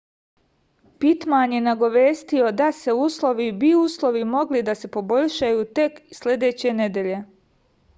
pitman je nagovestio da se uslovi bi uslovi mogli da se poboljšaju tek sledeće nedelje